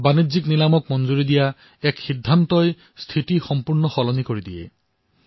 বাণিজ্যিক নিলামক অনুমোদন প্ৰদান কৰাৰ এক সিদ্ধান্তই স্থিতি সম্পূৰ্ণ ধৰণে পৰিৱৰ্তিত কৰি তুলিছে